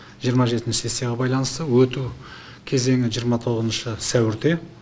жиырма жетінші сессияға байланысты өту кезеңі жиырма тоғызыншы сәуірде